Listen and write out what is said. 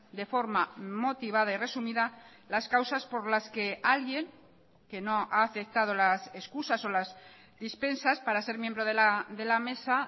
de forma motivada y resumida las causas por las que alguien que no ha aceptado las excusas o las dispensas para ser miembro de la mesa